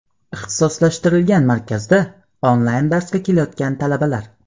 Ixtisoslashtirilgan markazda onlayn darsga kelayotgan talabalar.